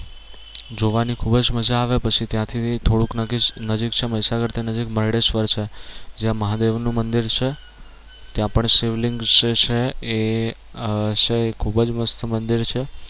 જોવાની ખૂબ જ મજા આવે પછી ત્યાં થી થોડુંક નજીક નજીક છે મહીસાગર થી નજીક મરડેશ્વર છે જ્યાં મહાદેવનું મંદિર છે ત્યાં પણ શિવલિંગ છે એ આહ ખૂબ જ મસ્ત મંદિર છે